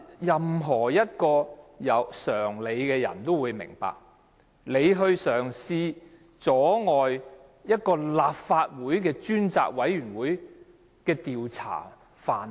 任何一位有常理的人都會明白，梁振英嘗試阻礙專責委員會的調查範圍。